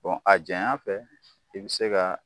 a janya fɛ, i bi se ka